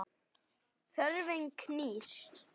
Þörfin knýr.